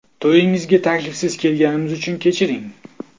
To‘yingizga taklifsiz kelganimiz uchun kechiring.